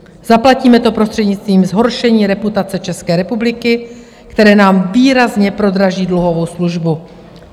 Zaplatíme to prostřednictvím zhoršení reputace České republiky, které nám výrazně prodraží dluhovou službu.